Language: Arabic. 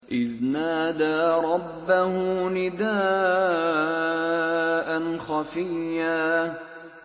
إِذْ نَادَىٰ رَبَّهُ نِدَاءً خَفِيًّا